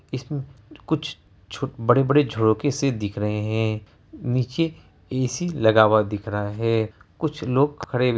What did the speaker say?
इसमे कुछ छो बड़े-बड़े झोंके से दिख रहे है नीचे ए.सी. लगा हुआ दिख रहा है। कुछ लोग खड़े हु --